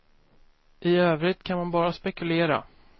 I övrigt kan man bara spekulera.